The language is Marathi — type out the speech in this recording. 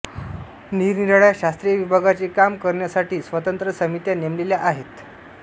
निरनिराळ्या शास्त्रीय विभागांचे काम करण्यासाठी स्वतंत्र समित्या नेमलेल्या आहेत